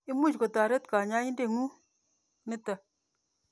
Imuch kotoret kanyoindet ng'ung' nitok.